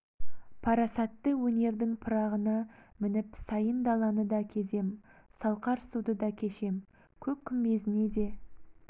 парасатты өнердің пырағына мініп сайын даланы да кезем салқар суды да кешем көк күмбезіне де